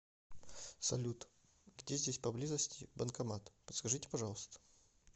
салют где здесь поблизости банкомат подскажите пожалуйста